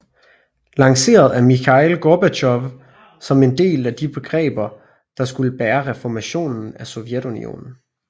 Lanceret af Mikhail Gorbatjov som et af de begreber der skulle bære reformationen af Sovjetunionen